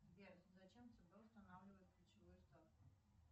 сбер зачем цб устанавливает ключевую ставку